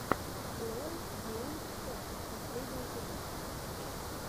лон гейм шот последний эпизод